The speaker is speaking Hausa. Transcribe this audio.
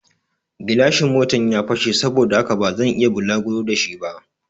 Gilashin Motan ya fashe saboda haka bazan iya bulaguro da shi ba